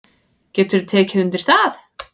Geturðu tekið undir það?